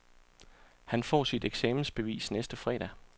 Han får sit eksamensbevis næste fredag.